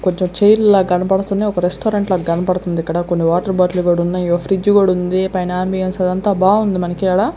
కొంచెం చైర్స్ లాగ్ కనపడుతున్నాయ్ ఒక రెస్టారెంట్లాగ్ కనబడుతుంది ఇక్కడ కొన్ని వాటర్ బాటిళ్లు కూడున్నాయ్ ఇయో ఫ్రిడ్జ్ కూడుంది పైన మీల్స్ అదంతా బాగుంది మనకీడ.